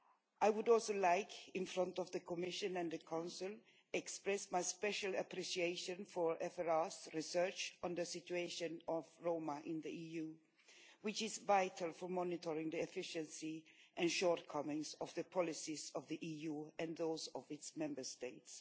I would also like, before the Commission and the Council, to express my special appreciation for FRA's research into the situation of Roma in the EU, which is vital for monitoring the efficiency and shortcomings of the policies of the EU and those of its Member States.